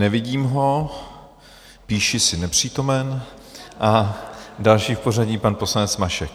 Nevidím ho, píši si nepřítomen, a další v pořadí pan poslanec Mašek.